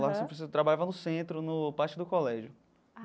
Lá você precisa, trabalhava no centro no, parte do colégio.